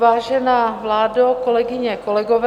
Vážená vládo, kolegyně, kolegové...